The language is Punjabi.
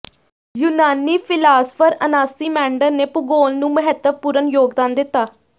ਯੂਨਾਨੀ ਫ਼ਿਲਾਸਫ਼ਰ ਅਨਾਸੀਮੈਂਡਰ ਨੇ ਭੂਗੋਲ ਨੂੰ ਮਹੱਤਵਪੂਰਣ ਯੋਗਦਾਨ ਦਿੱਤਾ